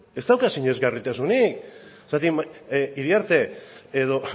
ez dauka sinesgarritasunik zergatik iriarte edo